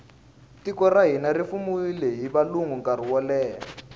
tiko ra hina ri fumiwile hi valungu nkarhi woleha